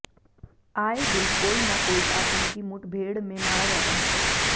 आए दिन कोई न कोई आतंकी मुठभेड़ में मारा जाता है